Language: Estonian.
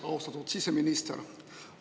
Austatud siseminister!